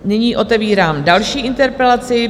Nyní otevírám další interpelaci.